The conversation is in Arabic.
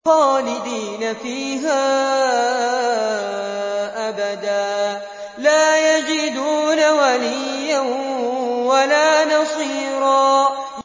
خَالِدِينَ فِيهَا أَبَدًا ۖ لَّا يَجِدُونَ وَلِيًّا وَلَا نَصِيرًا